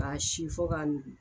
K'a si fɔ k'a nugu.